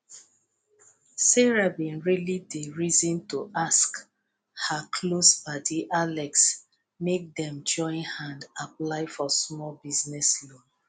sarah bin really dey reason to ask her close padi alex make dem join hand apply for smalll business loan